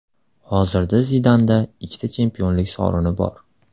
Hozirda Zidanda ikkita chempionlik sovrini bor.